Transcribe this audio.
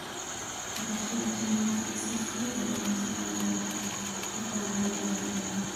dhaqashada shinnida si fudud ayaa loo samayn karaa xitaa meelo yaryar.